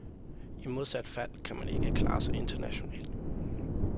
I modsat fald kan man ikke klare sig internationalt.